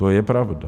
To je pravda.